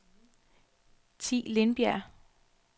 Thi Lindberg